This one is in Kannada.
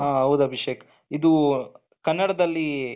ಹ ಹೌದಾ ಅಭಿಷೇಕ್ ಇದು ಕನ್ನಡದಲ್ಲಿ.